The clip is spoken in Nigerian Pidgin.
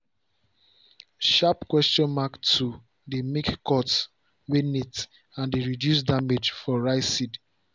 sharp questions mark tool dey make cut way neat and dey reduce damage for rice seed.